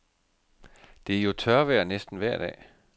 Det er jo tørvejr næsten vejr dag.